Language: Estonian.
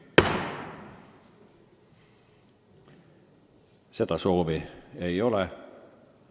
Seda soovi ei ole.